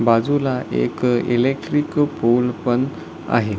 बाजूला एक electric pole पण आहे.